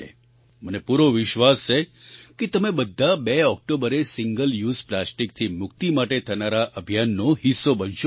મને પૂરો વિશ્વાસ છે કે તમે બધા 2 ઑક્ટોબરે સિંગલ યુઝ પ્લાસ્ટિકથી મુક્તિ માટે થનારા અભિયાનનો હિસ્સો બનશો જ